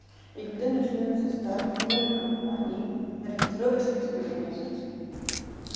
и когда начнётся старт в новой компании ориентировочно через месяц